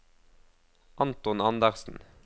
Anton Anderssen